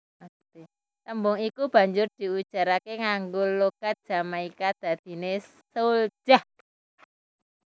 Tembung iku banjur diujaraké nganggo logat Jamaika dadiné souljah